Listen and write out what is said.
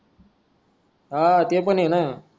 हा ते पण हे ना